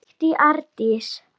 skríkti Arndís.